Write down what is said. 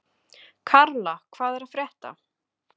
Karla, hvað er að frétta?